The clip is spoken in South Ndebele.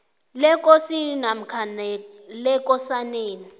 lekosini namkha lekosaneni